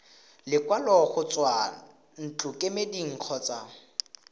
lekwalo go tswa ntlokemeding kgotsa